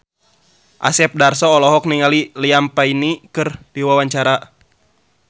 Asep Darso olohok ningali Liam Payne keur diwawancara